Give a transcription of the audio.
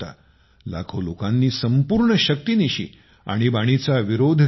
लाखो लोकांनी संपूर्ण शक्तीनिशी आणीबाणीचा विरोध केला